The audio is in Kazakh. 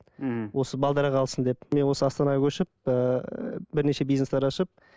мхм осы қалсын деп мен осы астанаға көшіп ііі бірнеше бизнестер ашып